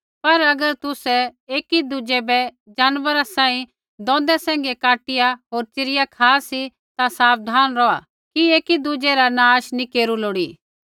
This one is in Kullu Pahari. पर अगर तुसै एकीदुज़ै बै जानवरा सांही दोंदा सैंघै काटिया होर च़िरिया खा सी ता साबधान रौहा कि एकी दुज़ै रा नाश नैंई केरू लोड़ी